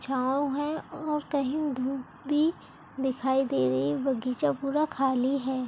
छाँव है और कही धुप भी दिखाई दे रही है बगीचा पूरा खाली है।